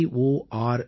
gov